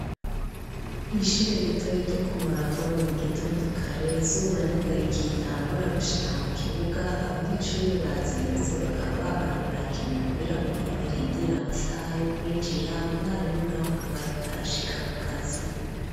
Kw'ishure ritoyi ryo ku Murago ni mu gitondo kare izuba niho rigitangura gushika mu kibuga abanyeshuri bazindutse bakaba babaye barakina umupira kugira barindire amasaha yo kwinjira umwarimu nawe akaba ariko arashika ku kazi